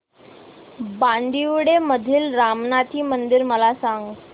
बांदिवडे मधील रामनाथी मंदिर मला सांग